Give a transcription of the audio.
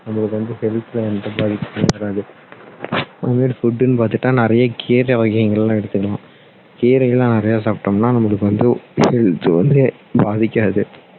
நம்மளுக்கு வந்து health ல வந்து எந்த பாதிப்பு இருக்காது அந்த மாதிரி food னு பார்த்தா நிறைய கீரை வகைகள் எடுத்துக்கணும் கீரை எல்லாம் நிறைய சாப்பிட்டோம்னா நம்மளுக்கு வந்து health வந்து பாதிக்காது